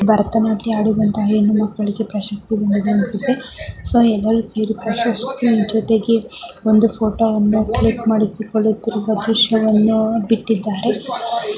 ಭರತನಾಟ್ಯ ಆಡಿದಂತಹ ಹೆಣ್ಣು ಮಕ್ಕಳಿಗೆ ಪ್ರಶಸ್ತಿ ಬಂದಿದ್ದೆ ಅನಿಸುತ್ತೆ. ಸೊ ಎಲ್ಲರೂ ಸೇರ್ಕೊಂಡು ಪ್ರಶಸ್ತಿ ಜೊತೆಗೆ ಒಂದು ಫೋಟೋವನ್ನು ಕ್ಲಿಕ್ ಮಾಡಿಸಿಕೊಳ್ಳುತ್ತಿರುವ ದೃಶ್ಯವನ್ನು ಬಿಟ್ಟಿದ್ದಾರೆ.